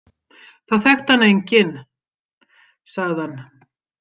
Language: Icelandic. Það þekkti hana enginn, sagði hann.